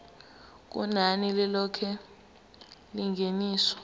kunani lilonke lengeniso